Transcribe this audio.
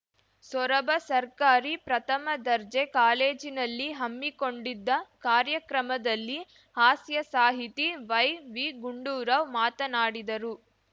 ಸೊರಬ ಸರ್ಕಾರಿ ಪ್ರಥಮದರ್ಜೆ ಕಾಲೇಜಿನಲ್ಲಿ ಹಮ್ಮಿಕೊಂಡಿದ್ದ ಕಾರ್ಯಕ್ರಮದಲ್ಲಿ ಹಾಸ್ಯ ಸಾಹಿತಿ ವೈವಿಗುಂಡುರಾವ್‌ ಮಾತನಾಡಿದರು